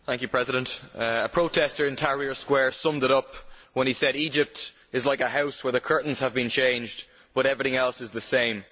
Mr President, a protestor in Tahrir Square summed it up when he said that Egypt is like a house where the curtains have been changed but everything else is the same.